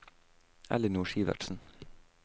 Ellinor Sivertsen